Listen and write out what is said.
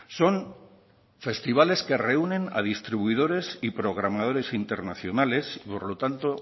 son festivales que reúnen a distribuidores y programadores internacionales y por lo tanto